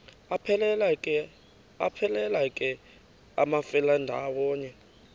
aphelela ke amafelandawonye